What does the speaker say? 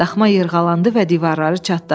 Daxma yırğalandı və divarları çatladı.